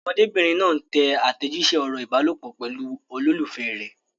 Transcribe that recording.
Ọmọdébìnrin náà ń tẹ àtẹ̀jíṣẹ́ ọ̀rọ̀ ìbálòpọ̀ pẹ̀lú olólùfẹ́ rẹ̀.